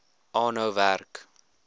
aanhou werk